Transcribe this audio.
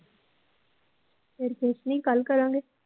ਫਿਰ ਕੁਸ਼ ਨੀ ਕੱਲ ਕਰਾਂਗੇ